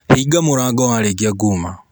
Hinga mũrango warĩkia kuma.